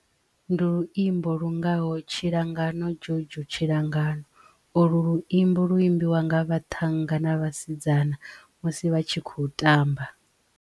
Ndi luimbo lu ngaho, tshilangano jojo tshilangan, olu luimbo lu imbiwa nga vhathannga na vhasidzana musi vha tshi khou tamba.